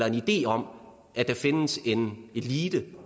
idé om at der findes en elite